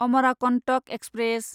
Amarkantak express